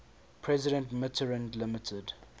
president mitterrand limited